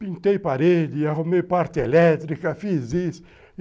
Pintei parede, arrumei parte elétrica, fiz isso.